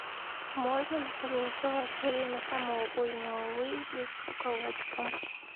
можно ли согласовать время самого позднего выезда с руководством